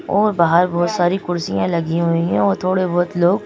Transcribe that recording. और बाहर बहुत सारी कुर्सियां लगी हुई हैं और थोड़े बहुत लोग--